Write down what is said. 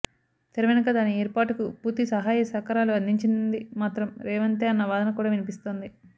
తెరవెనుక దాని ఏర్పాటుకు పూర్తి సహాయ సహకారాలు అందించింది మాత్రం రేవంతే అన్న వాదన కూడా వినిపిస్తోంది